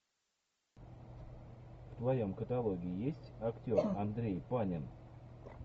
в твоем каталоге есть актер андрей панин